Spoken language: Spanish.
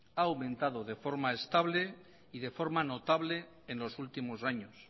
ha aumentado de forma estable y de forma notable en los últimos años